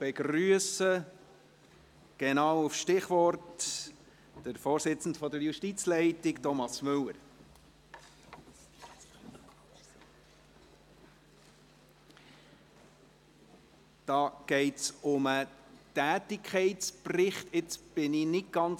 Sie haben der parlamentarischen Initiative vorläufige Unterstützung gewährt, mit 90 Ja- gegen 59 Nein-Stimmen bei 1 Enthaltung.